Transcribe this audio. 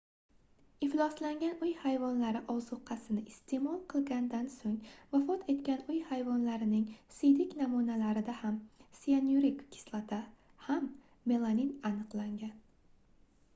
ifloslangan uy hayvonlari ozuqasini isteʼmol qilgandan soʻng vafot etgan uy hayvonlarining siydik namunalarida ham siyanurik kislota ham melamin aniqlangan